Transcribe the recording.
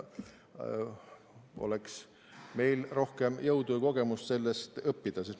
Oleks meil vaid rohkem jõudu ja kogemust sellest õppida!